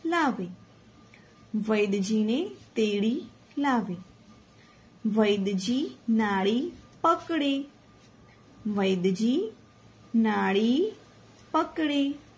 લાવે વૈધજીને તેડી લાવે વૈધજી નાળી પકડી વૈધજી નાળી પકડી